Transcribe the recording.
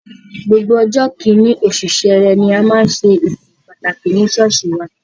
Gbogbo ọjọ́ kìíní, oṣù Sẹrẹ ni a máa ń ṣe ìsìn pàtàkì ní ṣọ́ọ̀ṣì wa.